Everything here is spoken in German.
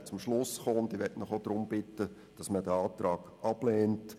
Man kam letztlich zu diesem Schluss, und ich bitte Sie ebenfalls, diesen Antrag abzulehnen.